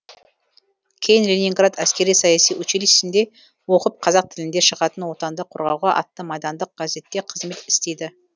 кейін ленинград әскери саяси училищесінде оқып қазақ тілінде шығатын отанды қорғауға атты майдандық газетте қызмет істейді